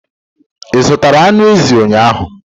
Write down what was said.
I zụtara anụ ezi ụnyahụ?